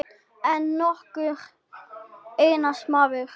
Ekki nokkur einasti maður.